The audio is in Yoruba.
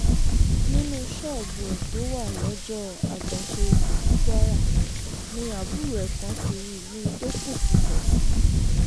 nínú ṣọ́ọ̀bù ẹ̀ tó wà lọ́jọ́ àjàṣe-ipò ní kwara ni àbúrò ẹ̀ kan ti rí i níbi tó pokùṣọ̀ sí